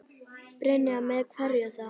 Brynja: Með hverju þá?